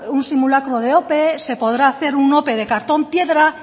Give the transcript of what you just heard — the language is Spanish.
un simulacro de ope se podrá hacer una ope de cartón piedra